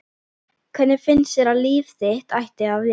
Hvernig finnst þér að líf þitt ætti að vera?